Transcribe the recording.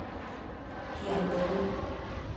кендари